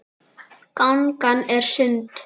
Gangan er sund.